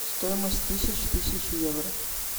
стоимость тысяч тысяч евро